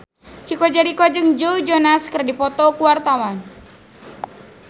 Chico Jericho jeung Joe Jonas keur dipoto ku wartawan